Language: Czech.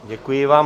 Děkuji vám.